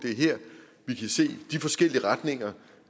er her vi kan se de forskellige retninger